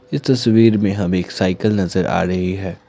ये तस्वीर में हमें एक साइकल नजर आ रही है।